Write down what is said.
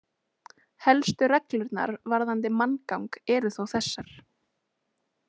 Helstu reglurnar varðandi manngang eru þó þessar.